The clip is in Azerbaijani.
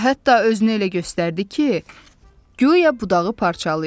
Və hətta özünü elə göstərdi ki, güya budağı parçalayır.